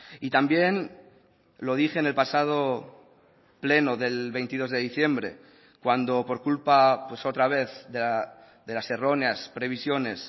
y también lo dije en el pasado pleno del veintidós de diciembre cuando por culpa pues otra vez de las erróneas previsiones